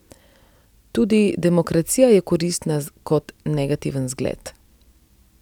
Tudi demokracija je koristna kot negativen zgled.